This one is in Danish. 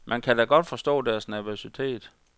Man kan da godt forstå deres nervøsitet.